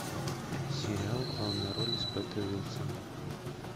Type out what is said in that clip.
сериал в главной роли с петой уилсон